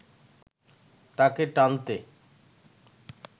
তাকে টানতে